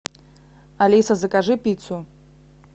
алиса закажи пиццу